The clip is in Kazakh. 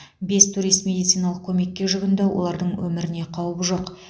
бес турист медициналық көмекке жүгінді олардың өміріне қауіп жоқ